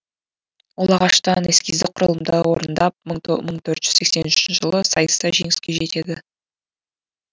ол ағаштан эскиздік құрылымды орындап мың төрт жүз сексен үшінші жылы сайыста жеңіске жетеді